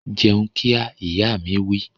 Jẹun kíá! Ìyá mi wí